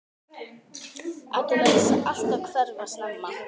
Addi lætur sig alltaf hverfa snemma.